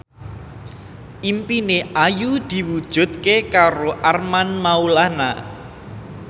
impine Ayu diwujudke karo Armand Maulana